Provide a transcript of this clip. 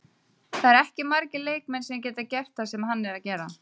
Það eru ekki margir leikmenn sem geta gert það sem hann er að gera.